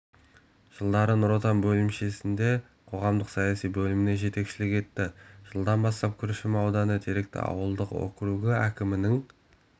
жылдары нұр отан бөлімшесінде қоғамдық-саяси бөліміне жетекшілік етті жылдан бастап күршім ауданы теректі ауылдық округі әкімінің